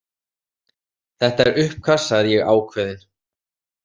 Þetta er uppkast, sagði ég ákveðin.